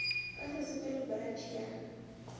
ka sesepe le poratšhe ya